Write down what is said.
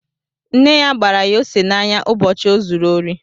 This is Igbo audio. Nne ya gbara ya ose n'anya ụbọchị o zuru ori